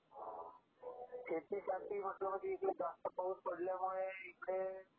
शेतीसाठी म्हंटलं म्हणजे इकडे जास्त पाऊस पडल्यामुळे इकडे.